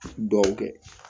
Dugawu kɛ